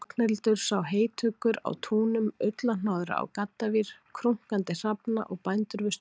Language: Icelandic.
Ragnhildur sá heytuggur á túnum, ullarhnoðra á gaddavír, krunkandi hrafna og bændur við störf.